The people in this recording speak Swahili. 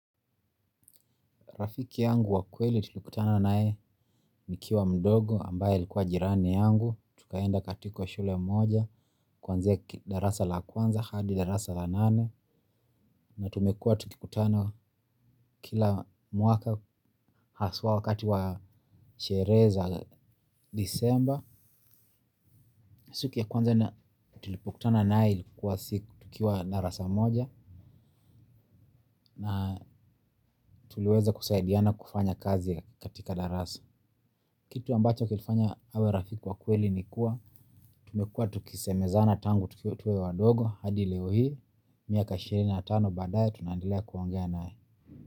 Rafiki yangu wa kweli tulikutana naye nikiwa mdogo ambaye alikuwa jirani yangu. Tukaenda katika shule moja kwanzia darasa la kwanza hadi darasa la nane na tumekua tukikutana kila mwaka haswa wakati wa sherehe za disemba. Siku ya kwanza na tulipokutana naye ilikuwa siku tukiwa darasa moja na tuliweza kusaidiana kufanya kazi katika darasa. Kitu ambacho kilifanya awe rafiki wa kweli ni kuwa tumekua tukisemezana tangu tukiwa wadogo hadi leo hii miaka ishirini na tano badaye tunaendelea kuongea naye.